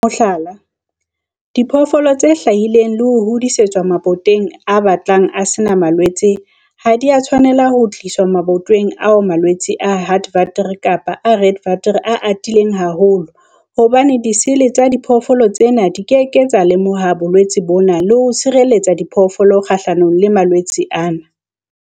Mohlala, diphoofolo tse hlahileng le ho hodisetswa mabatoweng a batlang a se na malwetse ha di a tshwanela ho tliswa mabatoweng ao malwetse a Heartwater kapa a Redwater a atileng haholo hobane disele tsa diphoofolo tsena di ke ke tsa lemoha bolwetse bona le ho tshireletsa diphoofolo kgahlanong le malwetse ana.